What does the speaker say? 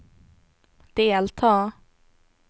delta